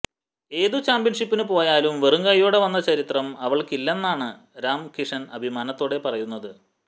ഏതു ചാംപ്യന്ഷിപ്പിനു പോയാലും വെറുംകൈയോടെ വന്ന ചരിത്രം അവള്ക്കില്ലെന്നാണ് രാം കിഷന് അഭിമാനത്തോടെ പറയുന്നത്